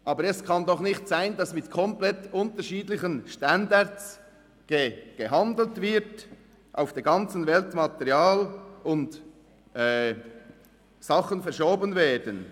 Aber es kann doch nicht sein, dass mit komplett unterschiedlichen Standards gehandelt wird und auf der ganzen Welt Material und Sachen verschoben werden.